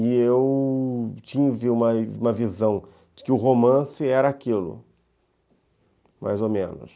E eu tive uma visão de que o romance era aquilo, mais ou menos.